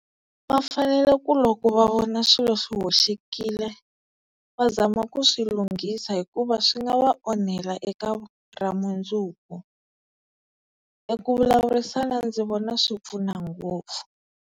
Va fanele ku loko va vona swilo swi hoxekile va zama ku swi lunghisa hikuva swi nga va onhela eka ra mundzuku, eku vulavurisana ndzi vona swi pfuna ngopfu.